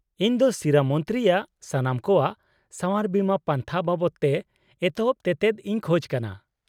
-ᱤᱧ ᱫᱚ ᱥᱤᱨᱟᱹ ᱢᱚᱱᱛᱨᱤᱼᱭᱟᱜ ᱥᱟᱱᱟᱢ ᱠᱚᱣᱟᱜ ᱥᱟᱶᱟᱨ ᱵᱤᱢᱟᱹ ᱯᱟᱱᱛᱷᱟ ᱵᱟᱵᱚᱫᱛᱮ ᱮᱛᱚᱦᱚᱵ ᱛᱮᱛᱮᱫ ᱤᱧ ᱠᱷᱚᱡ ᱠᱟᱱᱟ ᱾